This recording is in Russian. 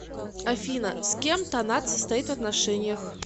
афина с кем танат состоит в отношениях